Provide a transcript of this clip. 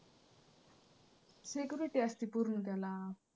security असती पूर्ण त्याला.